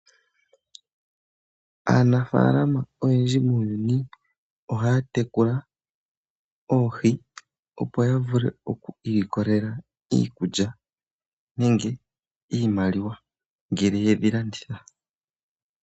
Aanafaalama oyendji muuyuni ohaya tekula oohi, opo ya vule oku ilikolela iikulya nenge iimaliwa ngele ye dhi landitha.